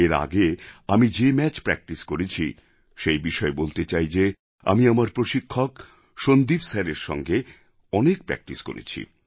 এর আগে আমি যে ম্যাচ প্র্যাক্টিস করেছি সেই বিষয়ে বলতে চাই যে আমি আমার প্রশিক্ষক সন্দীপ স্যারএর সঙ্গে অনেক প্র্যাক্টিস করেছি